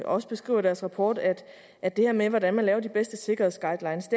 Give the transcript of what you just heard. også beskriver i deres rapport at at det her med hvordan man laver de bedste sikkerhedsguidelines